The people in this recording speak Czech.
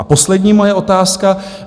A poslední moje otázka.